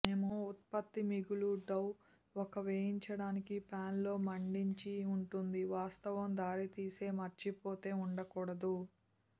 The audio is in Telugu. మేము ఉత్పత్తి మిగులు డౌ ఒక వేయించడానికి పాన్ లో మండించి ఉంటుంది వాస్తవం దారితీసే మర్చిపోతే ఉండకూడదు